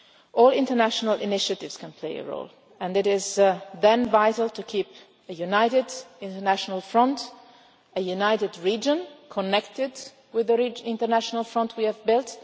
both peoples. All international initiatives can play a role, and it is vital to keep a united international front and a united region connected with the international front